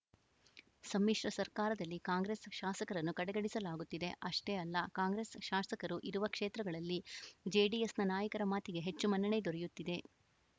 ಸಮ್ಮಿಶ್ರ ಸರ್ಕಾರದಲ್ಲಿ ಕಾಂಗ್ರೆಸ್‌ ಶಾಸಕರನ್ನು ಕಡೆಗಣಿಸಲಾಗುತ್ತಿದೆ ಅಷ್ಟೇ ಅಲ್ಲ ಕಾಂಗ್ರೆಸ್‌ ಶಾಸಕರು ಇರುವ ಕ್ಷೇತ್ರಗಳಲ್ಲಿ ಜೆಡಿಎಸ್‌ನ ನಾಯಕರ ಮಾತಿಗೆ ಹೆಚ್ಚು ಮನ್ನಣೆ ದೊರೆಯುತ್ತಿದೆ